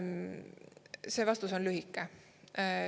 See vastus on lühike.